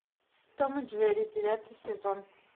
том и джерри девятый сезон